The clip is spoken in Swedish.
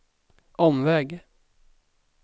omväg